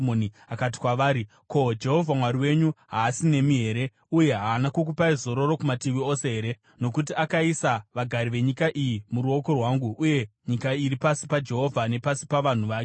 Akati kwavari, “Ko, Jehovha Mwari wenyu haasi nemi here? Uye haana kukupai zororo kumativi ose here? Nokuti akaisa vagari venyika iyi muruoko rwangu, uye nyika iri pasi paJehovha nepasi pavanhu vake.